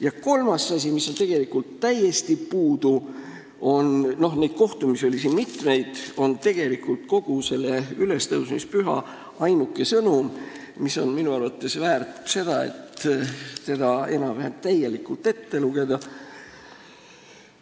Ja kolmas asi, mis on tegelikult täiesti puudu, on – neid kohtumisi oli siin mitmeid – kogu selle ülestõusmispüha ainuke sõnum, mis on minu arvates väärt, et see enam-vähem täielikult ette lugeda,